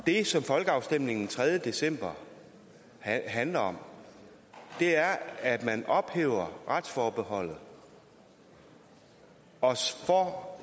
det som folkeafstemningen den tredje december handler om er at man ophæver retsforbeholdet og